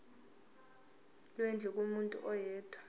lwendlu kumuntu oyedwa